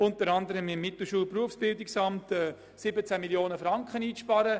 Dieses betraf auch das Mittelschul- und Berufsbildungsamt mit einer Einsparung von 17 Mio. Franken.